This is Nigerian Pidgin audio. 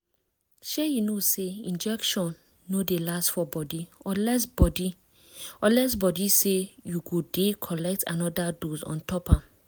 shay you know say injection no dey last for body unless body unless say you go dey collect anoda dose ontop am